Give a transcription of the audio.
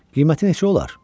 Qiyməti neçə olar?